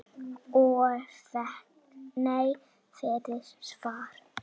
Og fékk nei fyrir svar?